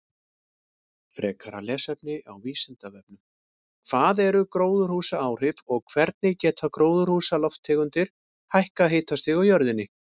Frekara lesefni á Vísindavefnum: Hvað eru gróðurhúsaáhrif og hvernig geta gróðurhúsalofttegundir hækkað hitastig á jörðinni?